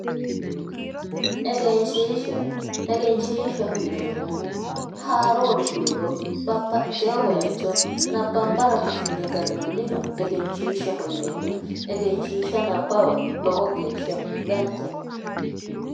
Egenshiishsha egenshiishshaho yineemmohu haaruuri fuliro babbaxxeyo baycho nabbambara fushshine gannanniha egenshiishaho yineemmo egenshiishsha nabbawa lowo geeshsha danchate